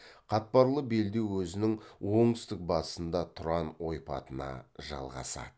қатпарлы белдеу өзінің оңтүстік батысында тұран ойпатына жалғасады